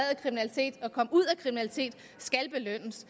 af kriminalitet skal belønnes